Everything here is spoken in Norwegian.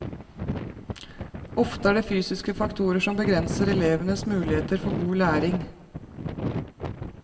Ofte er det fysiske faktorer som begrenser elevenes muligheter for god læring.